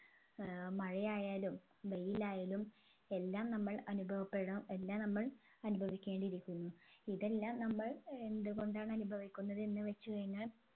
ഏർ മഴയായാലും വെയിലായാലും എല്ലാം നമ്മൾ അനുഭവപ്പെടാം എല്ലാം നമ്മൾ അനുഭവിക്കേണ്ടി ഇരിക്കുന്നു ഇതെല്ലാം നമ്മൾ എന്തുകൊണ്ടാണ് അനുഭവിക്കുന്നത് എന്ന് വെച്ച് കഴിഞ്ഞാൽ